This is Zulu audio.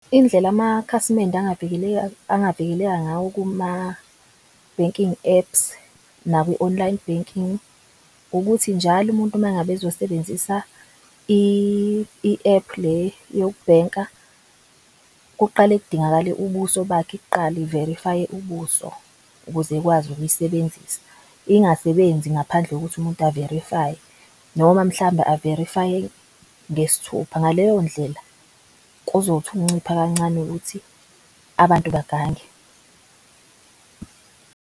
Indlela amakhasimende angavikeleka ngayo kuma-banking apps, naku-online banking. Ukuthi njalo umuntu uma ngabe ezosebenzisa i-app le yokubhenka kuqale kudingakale ubuso bakhe kuqala iverifaye ubuso ukuze ekwazi ukuyisebenzisa. Ingasebenzi ngaphandle kokuthi umuntu averifaye noma mhlambe averifaye ngesthupha. Ngaleyo ndlela, kuzothi ukuncipha kancane ukuthi abantu bagange.